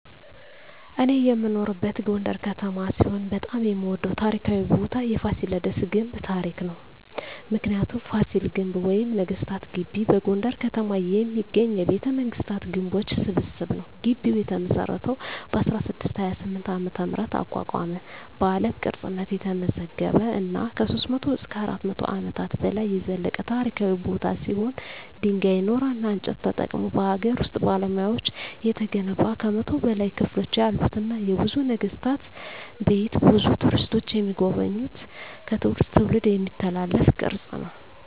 እኔ የምኖርበት ጎንደር ከተማ ሲሆን በጣም የምወደው ታሪካዊ ቦታ የፋሲለደስ ግንብ ታሪክ ነው። ምክንያቱ : ፋሲል ግንብ ወይም ነገስታት ግቢ በጎንደር ከተማ የሚገኝ የቤተመንግስታት ግንቦች ስብስብ ነው። ግቢው የተመሰረተው በ1628 ዓ.ም አቋቋመ በአለም ቅርስነት የተመዘገበ እና ከ300-400 አመታት በላይ የዘለቀ ታሪካዊ ቦታ ሲሆን ድንጋይ ,ኖራና እንጨት ተጠቅመው በሀገር ውስጥ ባለሙያዎች የተገነባ ከ100 በላይ ክፍሎች ያሉትና የብዙ ነገስታት ቤት ብዙ ቱሪስቶች የሚጎበኙት ከትውልድ ትውልድ የሚተላለፍ ቅርስ ነው።